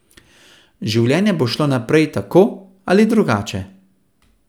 Življenje pa bo šlo naprej, tako ali drugače.